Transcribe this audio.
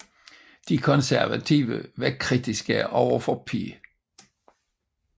De Konservative var kritiske overfor P